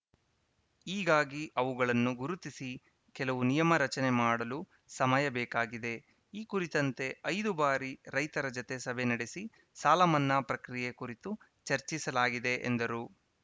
ಹೀಗಾಗಿ ಅವುಗಳನ್ನು ಗುರುತಿಸಿ ಕೆಲವು ನಿಯಮ ರಚನೆ ಮಾಡಲು ಸಮಯ ಬೇಕಾಗಿದೆ ಈ ಕುರಿತಂತೆ ಐದು ಬಾರಿ ರೈತರ ಜತೆ ಸಭೆ ನಡೆಸಿ ಸಾಲ ಮನ್ನಾ ಪ್ರಕ್ರಿಯೆ ಕುರಿತು ಚರ್ಚಿಸಲಾಗಿದೆ ಎಂದರು